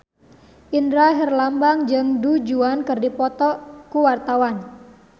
Indra Herlambang jeung Du Juan keur dipoto ku wartawan